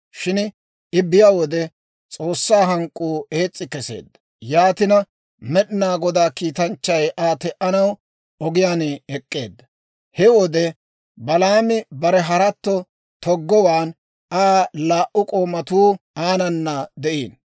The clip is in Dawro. Shin I biyaa wode S'oossaa hank'k'uu ees's'i keseedda; yaatina Med'inaa Godaa kiitanchchay Aa te"anaw ogiyaan ek'k'eedda. He wode Balaami bare haratto toggowaan, Aa laa"u k'oomatuu aanana de'iino.